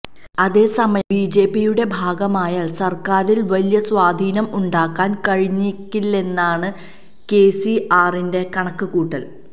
അതേസമയം ബിജെപിയുടെ ഭാഗമായാല് സര്ക്കാരില് വലിയ സ്വാധീനം ഉണ്ടാക്കാന് കഴിഞ്ഞേക്കില്ലെന്നാണ് കെസിആറിന്റെ കണക്ക് കൂട്ടല്